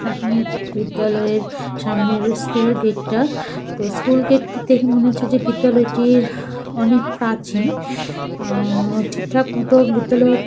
প্রাথমিক বিদ্যালয়ের সামনের স্কুল গেট -টা। তো স্কুল গেট -টি দেখে মনে হচ্ছে বিদ্যালয়টি অনেক প্রাচীন আহ ঠিকঠাক মতো বিদ্যালয়ের --